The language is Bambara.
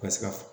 Ka se ka